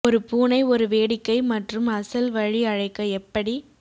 ஒரு பூனை ஒரு வேடிக்கை மற்றும் அசல் வழி அழைக்க எப்படி